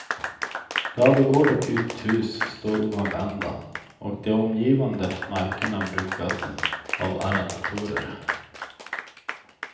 Ladugård och uthus står oanvända och de omgivande markerna brukas av arrendatorer.